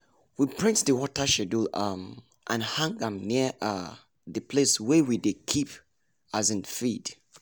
we print the water schedule um and hang am near um the place wey we dey keep um feed.